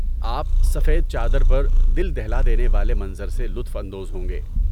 آپ سفید چادر پر دل دہلا دینے والے منظر سے لطف اندوز ہوں گے۔